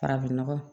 Farafin nɔgɔ